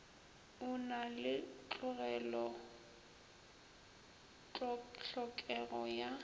a na le hlokego ya